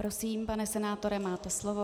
Prosím, pane senátore, máte slovo.